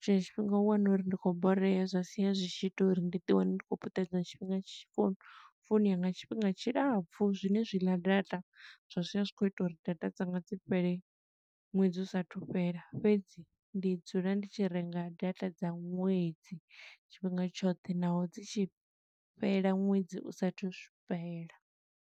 tshiṅwe tshifhinga u wana uri ndi khou borea, zwa sia zwi tshi ita uri ndi ḓi wane ndi khou puṱedza tshifhinga tshi founu founu yanga tshifhinga tshilapfu. Zwine zwi ḽa data, zwa sia zwi khou ita uri data dzanga dzi fhele ṅwedzi u sathu fhela. Fhedzi ndi dzula ndi tshi renga data dza ṅwedzi tshifhinga tshoṱhe, naho dzi tshi fhela ṅwedzi u sathu shu fhela.